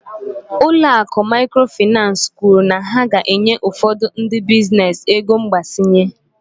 Ụlọ akụ Mikrofainansi kwuru na ha ga-enye ụfọdụ ndị biznes ego mgbazinye.